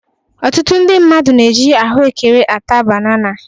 Ọtụtụ ndị mmadụ na-eji ahụekere ata banana.